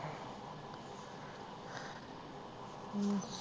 ਹਮ